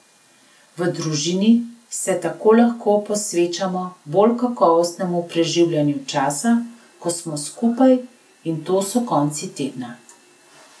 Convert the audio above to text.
V družini se tako lahko posvečamo bolj kakovostnemu preživljanju časa, ko smo skupaj, in to so konci tedna.